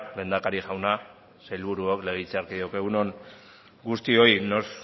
lehendakari jauna sailburuok legebiltzarkideok egun on guztioi nos